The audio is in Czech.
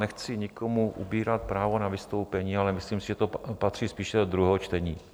Nechci nikomu ubírat právo na vystoupení, ale myslím si, že to patří spíše do druhého čtení.